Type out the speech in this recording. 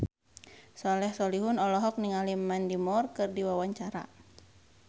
Soleh Solihun olohok ningali Mandy Moore keur diwawancara